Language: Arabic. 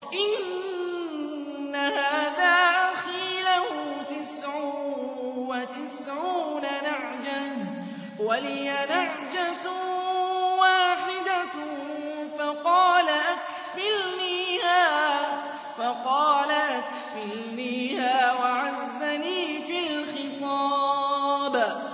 إِنَّ هَٰذَا أَخِي لَهُ تِسْعٌ وَتِسْعُونَ نَعْجَةً وَلِيَ نَعْجَةٌ وَاحِدَةٌ فَقَالَ أَكْفِلْنِيهَا وَعَزَّنِي فِي الْخِطَابِ